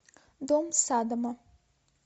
дом саддама